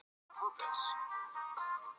Þetta er bara mjög venjulegt barn.